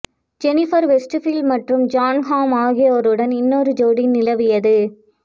Jennifer Westfield மற்றும் John Hamm ஆகியோருடன் இன்னொரு ஜோடி நிலவியது